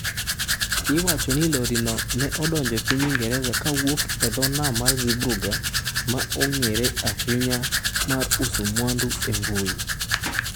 Iwacho ni lorino ne odonjo e piny Ingresa kowuok e dho nam mar Zeebrugge, ma en yo mong'ere ahinya mar uso mwandu e mbui.